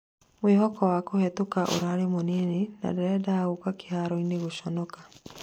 mwĩhoko wa kuhĩtuka ũrarĩ mũnini ...na ndirendaga gũka kĩharoinĩ gũconoka